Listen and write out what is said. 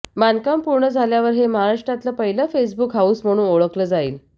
बांधकाम पूर्ण झाल्यावर हे महाराष्ट्रातलं पहिलं फेसबुक हाऊस म्हणून ओळखलं जाईल